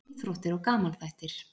Íþróttir og gamanþættir